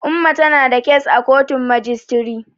Umma tana da kes a kotun majistiri.